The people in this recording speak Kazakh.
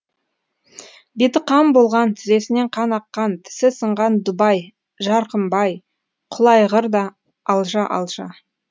беті қан болған тізесінен қан аққан тісі сынған дубай жарқымбай құлайғыр да алжа алжа